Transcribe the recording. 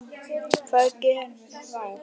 Hvað gerum við þá?